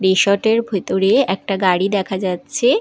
Resort - এর ভিতরে একটি গাড়ি দেখা যাচ্ছে।